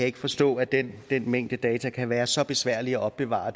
ikke forstå at den mængde data kan være så besværlig at opbevare